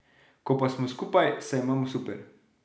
Ko pa smo skupaj, se imamo super.